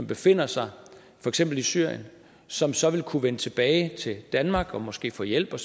befinder sig i syrien som så vil kunne vende tilbage til danmark og måske få hjælp